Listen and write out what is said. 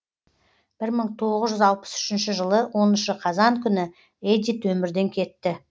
бір мың тоғыз жүз алпыс үшінші жылы оныншы қазан күні эдит өмірден кетті